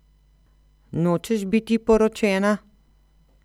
Nočeš biti poročena?